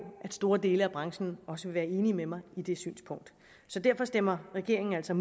at store dele af branchen også vil være enig med mig i det synspunkt så derfor stemmer regeringen altså